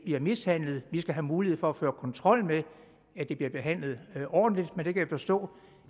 bliver mishandlet vi skal have mulighed for at føre kontrol med at de bliver behandlet ordentligt men jeg kan forstå